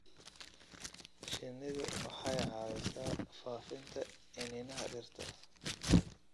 Shinnidu waxay caawisaa faafinta iniinaha dhirta.